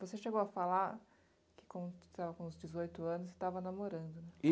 Você chegou a falar que com estava com dezoito anos e estava namorando.